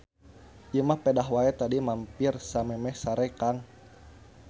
Ieu mah pedah wae tadi mampir samemeh sare Kang.